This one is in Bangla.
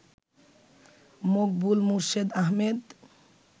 মকবুল মোর্শেদ আহমেদ